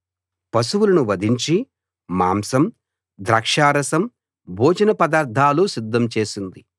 పశువులను వధించి మాంసం ద్రాక్షారసం భోజన పదార్థాలు సిద్ధం చేసింది